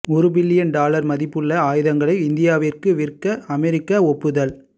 ஒரு billion dollar மதிப்புள்ள ஆயுதங்களை இந்தியாவுக்கு விற்க அமெரிக்கா ஒப்புதல்